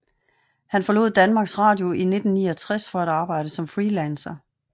Han forlod Danmarks Radio i 1969 for at arbejde som freelancer